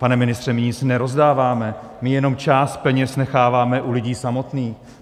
Pane ministře, my nic nerozdáváme, my jenom část peněz necháváme u lidí samotných.